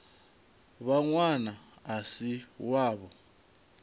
vha ṅwana a si wavho